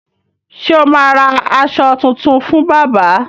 Ṣé o ma ra aṣọ tuntun fún bábà?